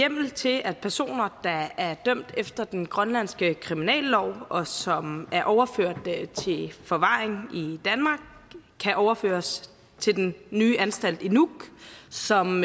hjemmel til at personer der er dømt efter den grønlandske kriminallov og som er overført til forvaring i danmark kan overføres til den nye anstalt i nuuk som